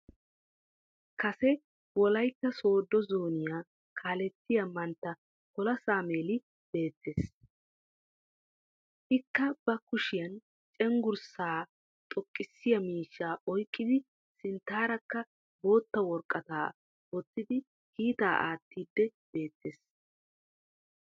Kassee wolaytta soddo zooniyaa kaallettiyaa manttaa pola sameli beettees. Ikka ba kushiyan cenggurssa xoqqisiya miishshaa oyqqidi sinttaraakka botta woraqqattaa wotidi kiittaa attiyddi beettees.